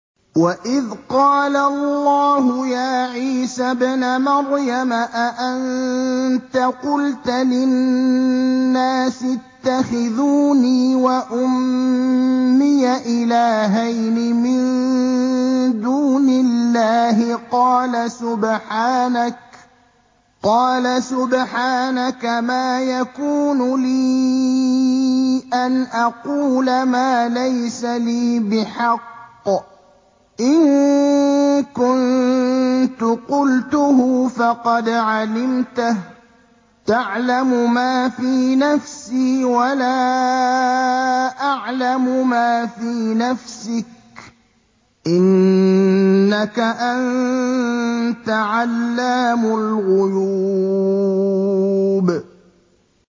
وَإِذْ قَالَ اللَّهُ يَا عِيسَى ابْنَ مَرْيَمَ أَأَنتَ قُلْتَ لِلنَّاسِ اتَّخِذُونِي وَأُمِّيَ إِلَٰهَيْنِ مِن دُونِ اللَّهِ ۖ قَالَ سُبْحَانَكَ مَا يَكُونُ لِي أَنْ أَقُولَ مَا لَيْسَ لِي بِحَقٍّ ۚ إِن كُنتُ قُلْتُهُ فَقَدْ عَلِمْتَهُ ۚ تَعْلَمُ مَا فِي نَفْسِي وَلَا أَعْلَمُ مَا فِي نَفْسِكَ ۚ إِنَّكَ أَنتَ عَلَّامُ الْغُيُوبِ